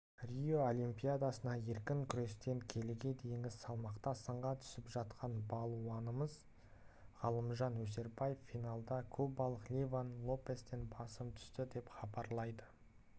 рио олимпиадасында еркін күрестен келіге дейінгі салмақта сынға түсіп жатқан балуанымыз ғалымжан өсербаев финалда кубалық ливан лопестен басым түсті деп хабарлайды